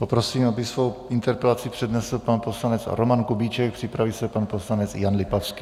Poprosím, aby svou interpelaci přednesl pan poslanec Roman Kubíček, připraví se pan poslanec Jan Lipavský.